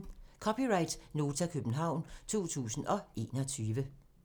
(c) Nota, København 2021